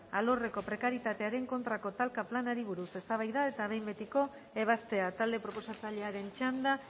alorreko prekarietatearen kontrako talka planari buruz eztabaida eta behin betiko ebazpena talde proposatzailearen txanda